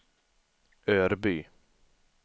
Örby